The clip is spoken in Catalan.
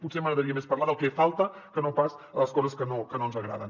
potser m’agradaria més parlar del que falta que no pas de les coses que no ens agraden